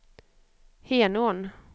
Henån